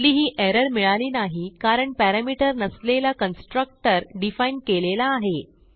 कुठलीही एरर मिळाली नाही कारण पॅरामीटर नसलेला कन्स्ट्रक्टर डिफाईन केलेला आहे